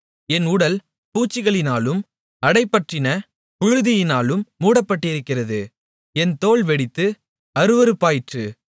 என் உடல் பூச்சிகளினாலும் அடைபற்றின புழுதியினாலும் மூடப்பட்டிருக்கிறது என் தோல் வெடித்து அருவருப்பாயிற்று